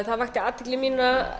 það vakti athygli mína